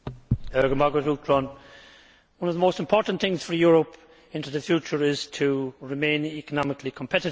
Mr President, one of the most important things for Europe in the future is to remain economically competitive.